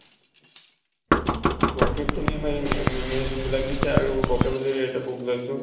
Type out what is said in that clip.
vocab খিনি মেই ma'am য়ে যোন বিলাক দিছে আৰু vocabulary এটা book লৈছো।